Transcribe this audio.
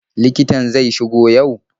Likitan zai shigo yau?